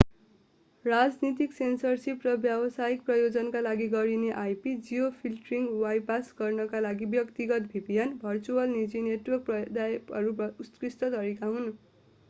राजनीतिक सेन्सरसिप र व्यावसायिक प्रयोजनका लागि गरिने ip- जियोफिल्टरिङ बाइपास गर्नका लागि व्यक्तिगत vpn भर्चुअल निजी नेटवर्क प्रदायकहरू उत्कृष्ट तरिका हुन्।